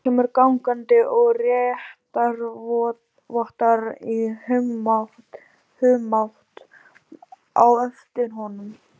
Lárus kemur gangandi og réttarvottar í humátt á eftir honum.